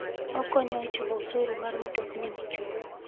Okonyo e chulo osuru mar mtokni michulo.